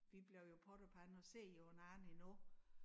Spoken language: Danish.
Vi blev jo pot og pande og ser jo hinanden endnu